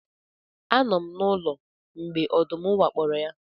Anọ m n'ụlọ mgbe ọdụm wakporo ya